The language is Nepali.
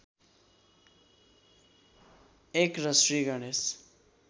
१ र श्री गणेश